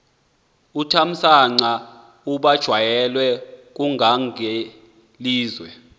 uthamsanqa ubanjelwe ngungangelizwe